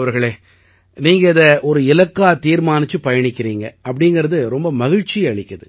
சரி கௌரவ் அவர்களே நீங்க இதை ஒரு இலக்கா தீர்மானிச்சுப் பயணிக்கறீங்க அப்படீங்கறது ரொம்ப மகிழ்ச்சி அளிக்குது